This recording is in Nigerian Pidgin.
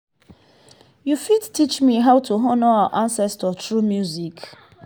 you fit teach me how to honour our ancestors through music?